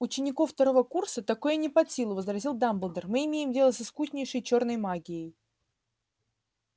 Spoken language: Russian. ученику второго курса такое не под силу возразил дамблдор мы имеем дело с искуснейшей чёрной магией